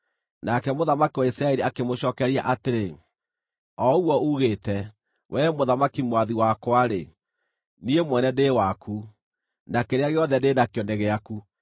Nake mũthamaki wa Isiraeli akĩmũcookeria atĩrĩ, “O ũguo uugĩte, wee mũthamaki mwathi wakwa-rĩ, niĩ mwene ndĩ waku, na kĩrĩa gĩothe ndĩ nakĩo nĩ gĩaku.”